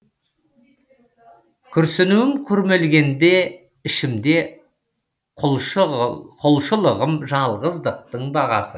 күрсінуім күрмелгенде ішімде құлшылығым жалғыздықтың бағасы